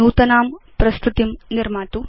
नूतनां प्रस्तुतिं निर्मातु